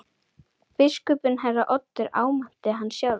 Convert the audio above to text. Biskupinn herra Oddur áminnti hann sjálfur.